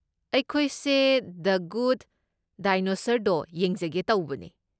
ꯑꯩꯈꯣꯏꯁꯦ the good dinosaur ꯗꯣ ꯌꯦꯡꯖꯒꯦ ꯇꯧꯕꯅꯦ꯫